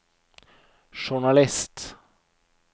journalist